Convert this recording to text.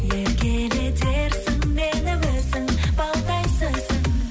еркелетерсің мені өзің балдай сөзің